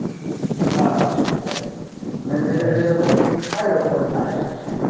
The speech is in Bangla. হ্যাঁ হ্যাঁ সেটাই মানে যেটা যেরকম দেখতে চাই ওটা ওদের ওরকম suggest আসে।